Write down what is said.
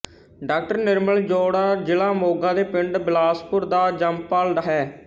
ਡਾ ਨਿਰਮਲ ਜੌੜਾ ਜਿਲ੍ਹਾ ਮੋਗਾ ਦੇ ਪਿੰਡ ਬਿਲਾਸਪੁਰ ਦਾ ਜੰਮਪਲ ਹੈ